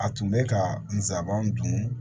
A tun bɛ ka n sabanan dun